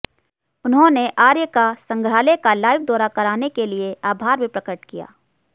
उन्होंने आर्य का संग्रहालय का लाइव दौरा कराने के लिए आभार भी प्रकट किया